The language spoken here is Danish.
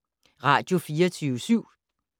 Radio24syv